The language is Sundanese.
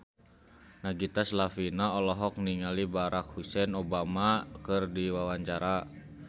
Nagita Slavina olohok ningali Barack Hussein Obama keur diwawancara